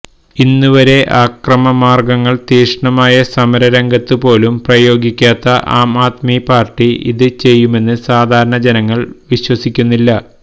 ഇന്നുവരെ അക്രമമാര്ഗങ്ങള് തീക്ഷ്ണമായ സമരരംഗത്തു പോലും പ്രയോഗിക്കാത്ത ആം ആദ്മി പാര്ട്ടി ഇത് ചെയ്യുമെന്ന് സാധാരണ ജനങ്ങള് വിശ്വസിക്കുന്നില്ല